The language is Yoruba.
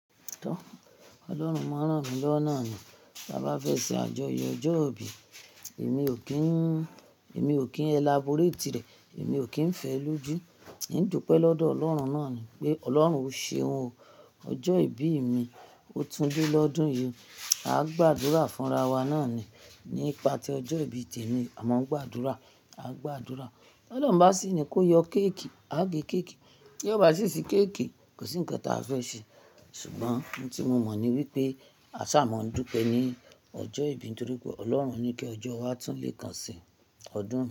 Tọ, Ọlọ́run máa rán mi lọ́wó naa ni, bá bá fẹ́ ṣe àjọyọ̀ ọjọ́ ìbí, èmi ò kí n, èmi ò kín elaborate rẹ̀, èmi ò kín fẹ́ lójú. N dúpẹ́ lọ́dọ̀ Ọlọ́run náà ni pé Ọlọ́run o ṣeun o. Ọjọ́ ìbí mi, o tún lé lọ́dún yìí, a gbàdúrà fún ara wa náà ni. Ní ìpátí ọjọ́ ìbí tèmi, à maa ń gbàdúrà, a gbàdúrà. Ọlọ́run bá sì ní kó yọ kéékì, a gé kéékì. Tí ó bá sì ṣe kéékì, kò sí ǹkan táa fẹ́ ṣe. Ṣùgbọ́n ohun tí mo mọ̀ ni wípé a ṣà maa dúpẹ́ ni ọjọ́ ìbí nítorí pé Ọlọ́run ní kí ọjọ́ wa tún lé kan sí ọdún.